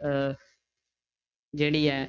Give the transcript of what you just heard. ਅਹ ਜਿਹੜੀ ਹੈ